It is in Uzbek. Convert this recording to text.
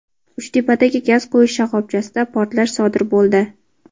Uchtepadagi gaz qo‘yish shoxobchasida portlash sodir bo‘ldi.